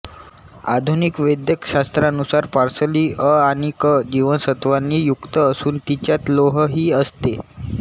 आधुनिक वैद्यकशास्त्रानुसार पार्सली अ आणि क जीवनसत्त्वांनी युक्त असून तिच्यात लोहही असते